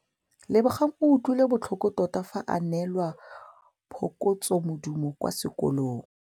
Lebogang o utlwile botlhoko tota fa a neelwa phokotsômaduô kwa sekolong.